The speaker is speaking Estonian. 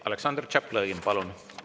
Aleksandr Tšaplõgin, palun!